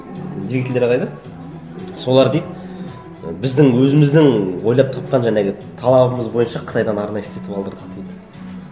двигательдері қайда солар дейді біздің өзіміздің ойлап тапқан жаңағы талабымыз бойынша қытайдан арнайы істетіп алдырдық дейді